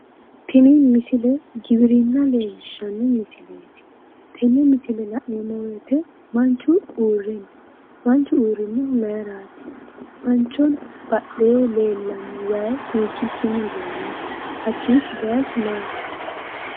Tini misile giwirinna leellishshanno misileeti. Tenne misile la'neemmo woyite manchu uurre no. Manchu uurrinnohu mayiraati? Manchoho badheenni leellanno wayi hiikkiichinni dayinoho? Hakkiichi bayichu maati?